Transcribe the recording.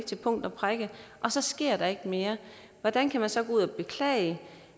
til punkt og prikke så sker der ikke mere hvordan kan man så beklage